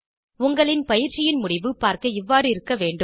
உங்களின் பயிற்சியின் முடிவு பார்க்க இவ்வாறு இருக்க வேண்டும்